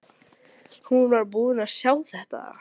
Hún var búin að sjá þetta!